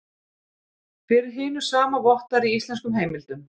Fyrir hinu sama vottar í íslenskum heimildum.